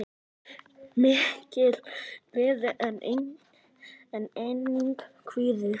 Mikil gleði en einnig kvíði.